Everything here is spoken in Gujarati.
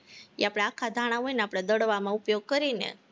એ આપણા આખા ધાણા હોય ને આપણે દળવામાં ઉપયોગ કરી ને